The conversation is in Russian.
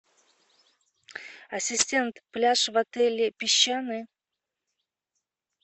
ассистент пляж в отеле песчаный